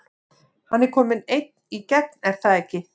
Hann er kominn einn í gegn er það ekki?